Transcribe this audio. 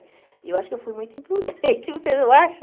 E eu acho que eu fui muito imprudente, você não acha?